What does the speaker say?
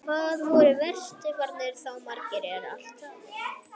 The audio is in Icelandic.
Hvað voru vesturfararnir þá margir, ef allt er talið?